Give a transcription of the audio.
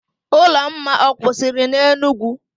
Ụlọma ọ kwụsịrị n'Enugwu?